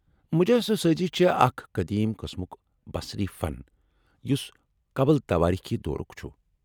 مجسمہٕ سٲزی چھ اکھ قدیم قٕسمُک بصری فن یُس قبل تواریخی دورُک چُھ ۔